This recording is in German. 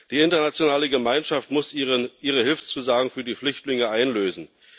Die internationale Gemeinschaft muss ihre Hilfszusagen für die Flüchtlinge einlösen.